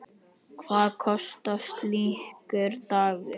Hvað kostar slíkur dagur?